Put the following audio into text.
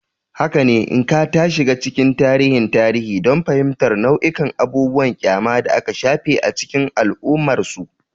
Haka ne, Nneka ta shiga cikin tarihin tarihi don fahimtar nau'ikan abubuwan ƙyama da aka shafe a cikin al'ummarsu.